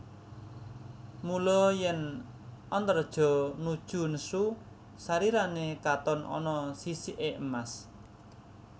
Mula yèn Antareja nuju nesu sarirané katon ana sisiké emas